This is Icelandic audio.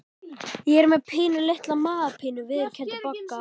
Ég er með pínulitla magapínu viðurkenndi Bogga.